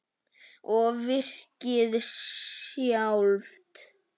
Og virkið sjálft?